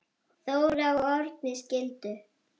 Þóra og Árni skildu.